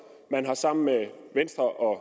man har sammen med venstre og